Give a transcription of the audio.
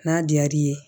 N'a diyar'i ye